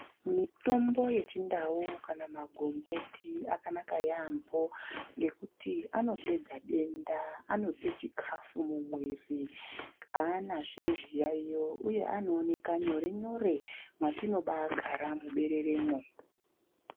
Mitombo yechindau kana magomboti akanaka yampho ngekuti anopedza denda, anope chikafu mumwiri aanazve zviyayiyo uye anooneka nyore-nyore mwatinobagara mubereremwo.